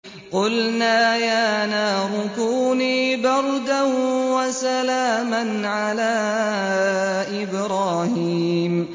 قُلْنَا يَا نَارُ كُونِي بَرْدًا وَسَلَامًا عَلَىٰ إِبْرَاهِيمَ